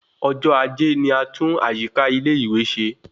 Ọjọ ajé ni a tun àyíká ilé ìwé se